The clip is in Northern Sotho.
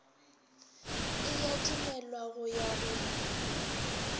e adimelwa go ya go